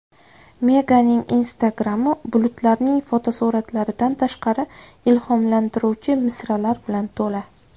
Meganning Instagram’i bulutlarning fotosuratlaridan tashqari, ilhomlantiruvchi misralar bilan to‘la.